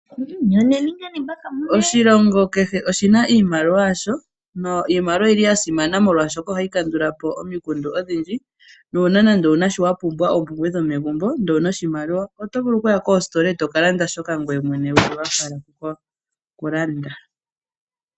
Oshilongo kehe oshi na iimaliwa yasho. Iimaliwa oyi li ya simana oshoka ohayi kandulapo omikundu odhindji. Uuna wa pumbwa oompumbwe dhomegumbo ihe owuna oshimaliwa oto vulu okuya koositola eto ka landa shoka ngoye mwene wu li wa hala oku landa.